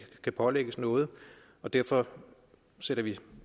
kan pålægges noget og derfor sætter vi